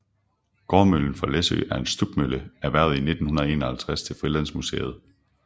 Gårdmøllen fra Læsø er en stubmølle erhvervet 1951 til Frilandsmuseet